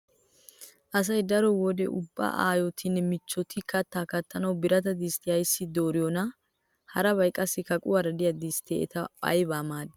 Asay daro wode ubba aayotinne michchoti kattaa kattanawu birata disttiya ayssi dooriyonaa? Harabay qassi kaquwara diya distte eta aybawu maaddii?